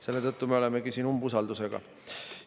Selle tõttu me olemegi siin umbusaldus.